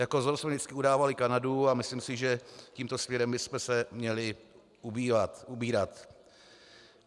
Jako vzor jsme vždycky udávali Kanadu a myslím si, že tímto směrem bychom se měli ubírat.